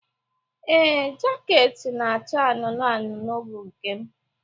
Ee, jaket na-acha anụnụ anụnụ bụ nke m.